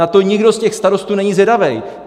Na to nikdo z těch starostů není zvědavej.